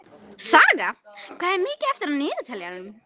Saga, hvað er mikið eftir af niðurteljaranum?